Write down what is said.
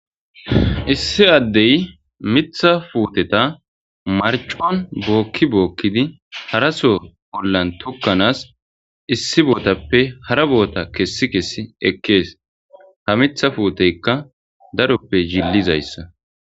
issi addey mitha puuteta marcon bookki bookkidi haraso bollan tukkanaas issi bootappe hara boota kessi kessi ekkees ha mitha fuuteykka daroppe jillizayssa